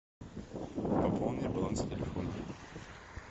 пополни баланс телефона